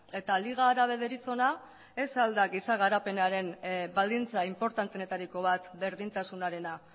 eta liga árabe deritzona ez al da giza garapenaren baldintza inportanteenetariko bat berdintasunarena